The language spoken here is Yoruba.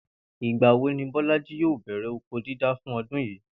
Ìgbà wo ni Bó̩lájí yòò bè̩rè̩ oko dídá fún o̩dún yìí?